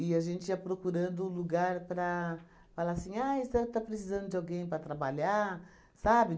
E a gente ia procurando lugar para falar assim, ah a senhora está precisando de alguém para trabalhar, sabe?